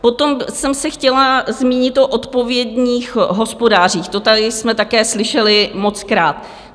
Potom jsem se chtěla zmínit o odpovědných hospodářích, to tady jsme také slyšeli mockrát.